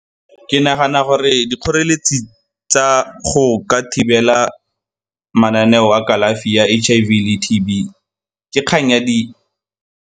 Ke nagana gore dikgoreletsi tsa go ka thibela mananeo a kalafi ya H_I_V le T_B ke kgang ya di.